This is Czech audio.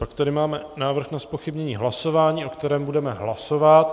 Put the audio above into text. Pak tady máme návrh na zpochybnění hlasování, o kterém budeme hlasovat.